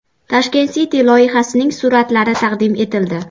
Tashkent City loyihasining suratlari taqdim etildi .